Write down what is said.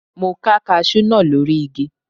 Mo ká kaṣú náà lórí igi.